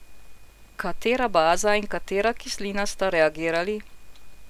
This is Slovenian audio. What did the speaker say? Katera baza in katera kislina sta reagirali?